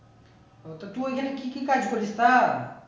ও তো তুই ওইখানে কি কি কাজ করিস তা